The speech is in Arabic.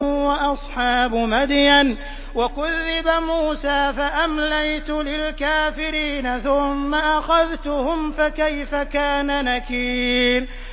وَأَصْحَابُ مَدْيَنَ ۖ وَكُذِّبَ مُوسَىٰ فَأَمْلَيْتُ لِلْكَافِرِينَ ثُمَّ أَخَذْتُهُمْ ۖ فَكَيْفَ كَانَ نَكِيرِ